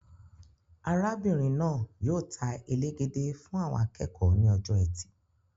Arábìnrin náà yóò ta elegede fún àwọn akẹ́kọ̀ọ́ ní ọjọ ẹtì.